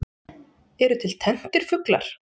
Eru til tenntir fuglar?